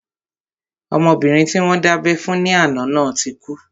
Ọmọbìnrin tí wọ́n dábẹ́ fún ní àná náà ti kú